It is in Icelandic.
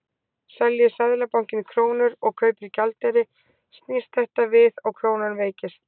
Selji Seðlabankinn krónur og kaupir gjaldeyri snýst þetta við og krónan veikist.